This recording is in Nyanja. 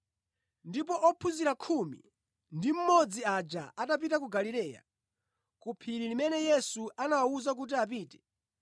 Ndipo ophunzira khumi ndi mmodzi aja anapita ku Galileya, ku phiri limene Yesu anawawuza kuti apite.